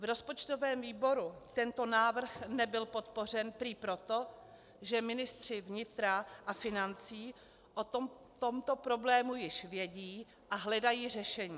V rozpočtovém výboru tento návrh nebyl podpořen prý proto, že ministři vnitra a financí o tomto problému již vědí a hledají řešení.